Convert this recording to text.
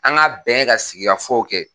An ga bɛn ka sigikafow kɛ